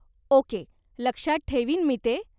Okay, लक्षात ठेवीन मी ते.